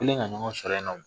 U nana ɲɔgɔn sɔrɔ yen